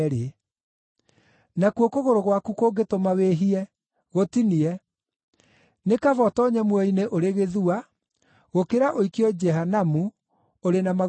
Nakuo kũgũrũ gwaku kũngĩtũma wĩhie, gũtinie. Nĩ kaba ũtoonye muoyo-inĩ ũrĩ gĩthua, gũkĩra ũikio Jehanamu ũrĩ na magũrũ meerĩ.